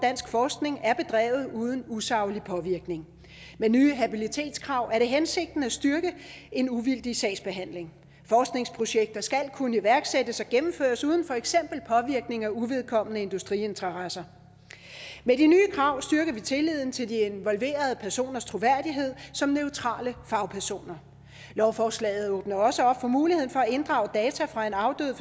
forskning er bedrevet uden usaglig påvirkning med nye habilitetskrav er det hensigten at styrke en uvildig sagsbehandling forskningsprojekter skal kunne iværksættes og gennemføres uden for eksempel påvirkning af uvedkommende industriinteresser med de nye krav styrker vi tilliden til de involverede personers troværdighed som neutrale fagpersoner lovforslaget åbner også op for muligheden for at inddrage data fra en afdød